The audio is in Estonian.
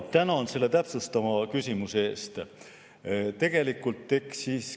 Tänan selle täpsustava küsimuse eest.